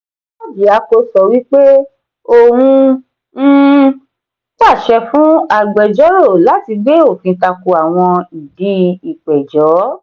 orjiako sọ wí pé òun um pàṣẹ fún agbejoro láti gbé òfin tako awọn ìdì ipẹjọ.